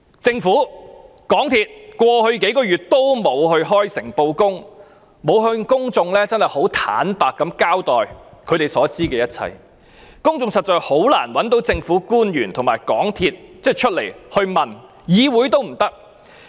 政府和港鐵公司過去幾個月也沒有開誠布公向公眾坦白地交代他們所知的一切，公眾實在很難令政府官員和港鐵公司高層回答問題，議會也不能做到。